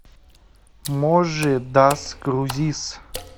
можи дас крузис